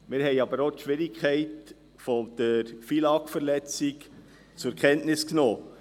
Wir haben aber auch die Schwierigkeit der FILAG-Verletzung zur Kenntnis genommen.